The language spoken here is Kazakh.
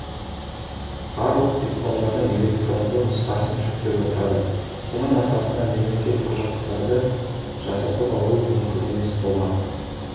барлық дипломдардың электронды нұсқасын жүктеп отырады соның арқасында мемлекеттік құжаттарды жасатып алу мүмкін емес болмақ